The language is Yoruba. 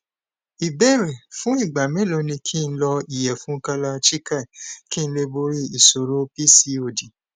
ìbéèrè fún ìgbà mélòó ni ki n lo iyefun kalachikai kí n lè borí ìṣòro pcod